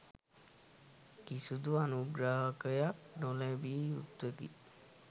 කිසිදු අනුග්‍රහයක් නොලැබිය යුත්තකි.